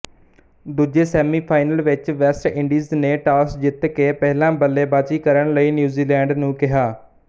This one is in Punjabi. ਦੂਜੇ ਸੈਮੀਫ਼ਾਈਨਲ ਵਿੱਚ ਵੈਸਟਇੰਡੀਜ਼ ਨੇ ਟਾੱਸ ਜਿੱਤ ਕੇ ਪਹਿਲਾਂ ਬੱਲੇਬਾਜ਼ੀ ਕਰਨ ਲਈ ਨਿਊਜ਼ੀਲੈਂਡ ਨੂੰ ਕਿਹਾ